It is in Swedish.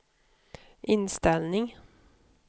inställning